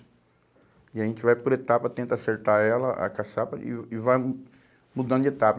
E a gente vai por etapa, tenta acertar ela, a caçapa, e e vai hum mudando de etapa.